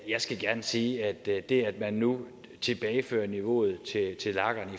jeg skal gerne sige at det at man nu tilbagefører niveauet